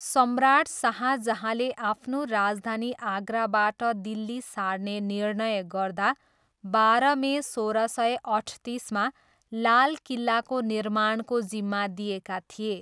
सम्राट शाहजहाँले आफ्नो राजधानी आगराबाट दिल्ली सार्ने निर्णय गर्दा बाह्र मे सोह्र सय अठतिसमा लाल किल्लाको निर्माणको जिम्मा दिएका थिए।